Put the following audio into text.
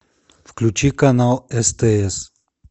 включи канал стс